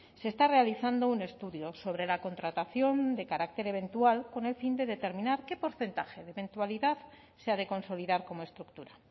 se está realizando un estudio sobre la contratación de carácter eventual con el fin de determinar qué porcentaje de eventualidad se ha de consolidar como estructura